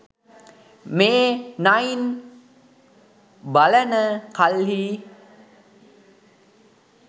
මේ නයින් බලන කල්හි